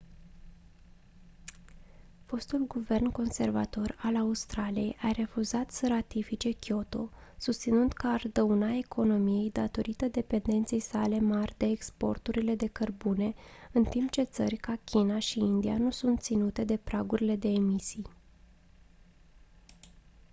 fostul guvern conservator al australiei a refuzat să ratifice kyoto susținând că ar dauna economiei datorită dependenței sale mari de exporturile de cărbune în timp ce țări ca china și india nu sunt ținute de pragurile de emisii